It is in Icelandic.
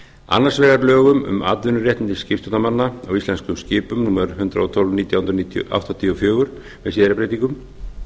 annars vegar lögum um atvinnuréttindi skipstjórnarmanna á íslensku miðum númer hundrað og tólf nítján hundruð áttatíu og fjögur með síðari breytingum